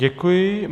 Děkuji.